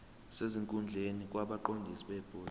sesikhundleni kwabaqondisi bebhodi